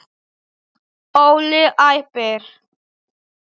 Óli æpir.